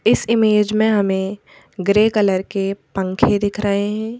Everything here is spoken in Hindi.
इस इमेज में हमें ग्रे कलर के पंखे दिख रहे हैं।